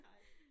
Nej